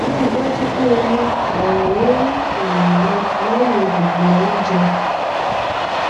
rii daju pe o mu ọrinrinrin um rẹ lẹhin gbogbo ounjẹ